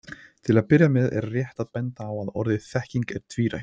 Til að byrja með er rétt að benda á að orðið þekking er tvírætt.